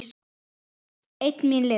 Einn míns liðs.